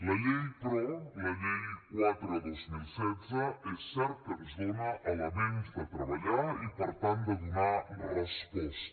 la llei però la llei quatre dos mil setze és cert que ens dona elements de treballar i per tant de donar resposta